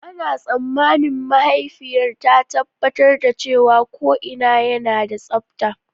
Ana tsammanin mahaifiyar ta tabbatar da cewa ko'ina yana da tsabta.